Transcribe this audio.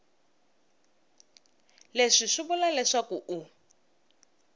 leswi swi vula leswaku u